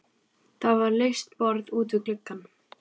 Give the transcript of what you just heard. Það var laust borð út við glugga.